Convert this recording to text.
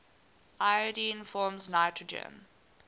iodine forms nitrogen